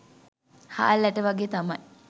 හාල් ඇට වගේ තමයි